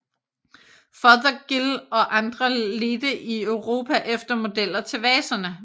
Fothergill og andre ledte i Europa efter modeller til vaserne